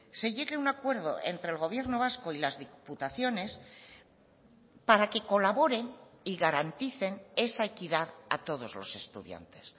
se llegue a un acuerdo entre el gobierno vasco y las diputaciones para que colaboren y garanticen esa equidad a todos los estudiantes